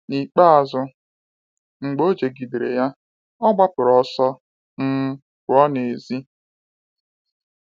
N’ikpeazụ, mgbe o jigidere ya, ọ gbapụrụ ọsọ um pụọ n’èzí.